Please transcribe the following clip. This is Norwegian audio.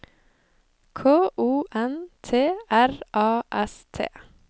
K O N T R A S T